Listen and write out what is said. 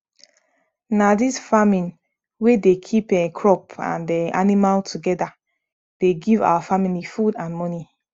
na dis farming wey dey keep um crop and um animal together dey give our family food and money